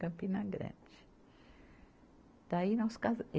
Campina Grande. Daí nós casa